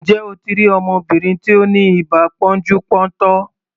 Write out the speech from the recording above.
Ǹjẹ́ o ti rí ọmọbìnrin tí ó ni ibà pọ́njú-pọ́ntọ̀?